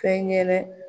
Fɛn ŋɛ